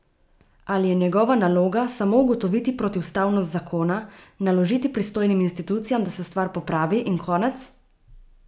Ali je njegova naloga samo ugotoviti protiustavnost zakona, naložiti pristojnim institucijam, da se stvar popravi, in konec?